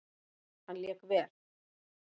Hann lék vel.